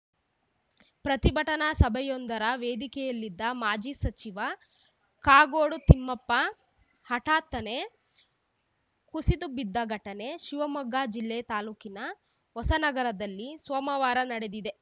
ಪ್ರತಿಭಟನಾ ಸಭೆಯೊಂದರ ವೇದಿಕೆಯಲ್ಲಿದ್ದ ಮಾಜಿ ಸಚಿವ ಕಾಗೋಡು ತಿಮ್ಮಪ್ಪ ಹಠಾತ್ತನೇ ಕುಸಿದು ಬಿದ್ದ ಘಟನೆ ಶಿವಮೊಗ್ಗ ಜಿಲ್ಲೆ ತಾಲೂಕಿನ ಹೊಸನಗರದಲ್ಲಿ ಸೋಮವಾರ ನಡೆದಿದೆ